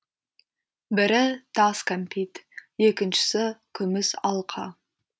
бірі тас кәмпит екіншісі күміс алқа